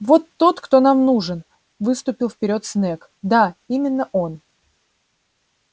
вот тот кто нам нужен выступил вперёд снегг да именно он